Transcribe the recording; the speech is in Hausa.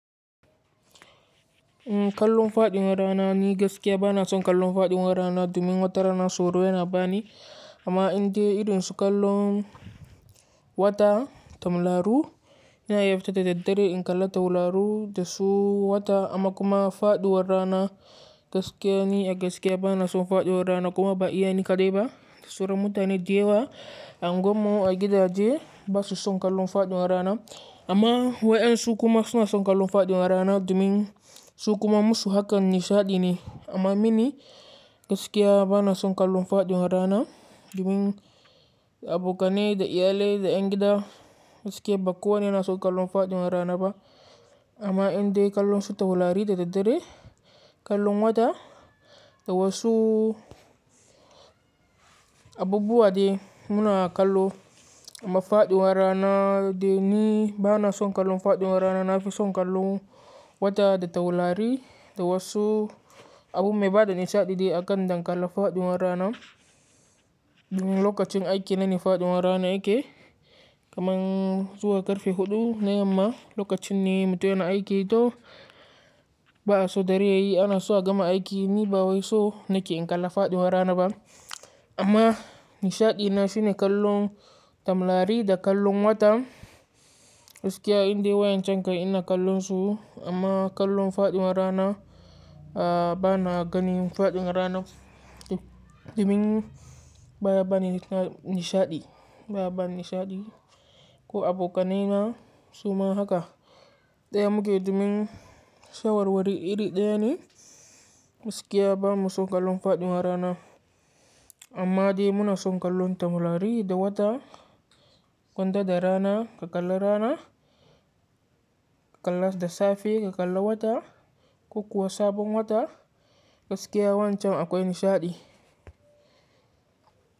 Kallon faɗin rana ni gaskiya bana son kallon faɗin rana domin wata rana sauro yana bani. Amma in dai idonsu kallon wata tamraru, ina iya fita da daddare in kalla tawularu da su wata amma kuma faɗiwar rana gaskiya ni a gaskiya bana son faɗiwar rana kuma ba iya ni kaɗai ba. Da saura mutane da yawa a unguwar mu a gidaje basu son kallon faɗin rana. Amma wayen su kuma suna son kallon faɗin rana domin su kuma musu hakan nishaɗi ne. Amma mini gaskiya bana son kallon faɗin rana domin abokanai da iyalai da dangin gida gaskiya ba kowane suna son kallon faɗin rana ba. Amma in dai kallon su taurari da daddare, kallon wata da wasu abubuwa dai muna kallo. Amma faɗin rana dai ni bana son kallon faɗin rana, nafi son kallon wata da tawulari da wasu abu mai bada nishaɗi dai a kan dangalla faɗin rana. Domin lokacin aiki na ne faɗin rana yake, kaman zuwa karfe huɗu na yamma lokacin ne mutane aiki to ba a so dare yayi ana so a gama aiki ni ba wai so nake in kalla faɗin rana ba. Amma nishaɗi na shine kallon tamrari da kallon wata gaskiya in dai wayan can kai ina kallon su amma kallon faɗin rana, a bana ganin faɗin rana domin baya bani nishaɗi baya bani nishaɗi. Ko abokanai na suma haka. Daya muke domin shawarwari iri ɗaya ne gaskiya bamu son kallon faɗin rana. Amma dai muna son kallon tamrari da wata, kwanda da rana, ka kalla rana, ka kalla da safe, ka kalla wata, ko kuwa sabon wata gaskiya wancan akwai nishaɗi.